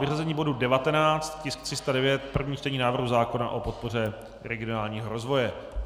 Vyřazení bodu 19, tisk 309, první čtení návrhu zákona o podpoře regionálního rozvoje.